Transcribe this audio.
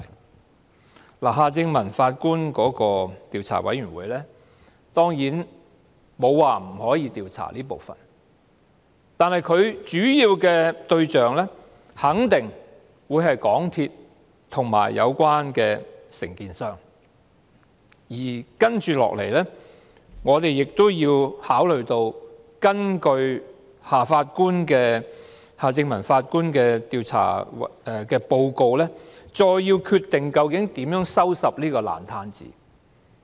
當然，沒有人說過夏正民法官的調查委員會不能調查這一部分，但其主要對象肯定是港鐵公司和有關承建商，而接下來我們亦須考慮根據夏正民法官的調查報告，究竟應如何收拾這個爛攤子。